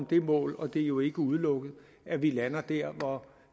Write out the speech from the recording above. det mål og det er jo ikke udelukket at vi lander der hvor